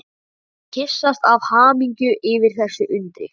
Og kyssast af hamingju yfir þessu undri.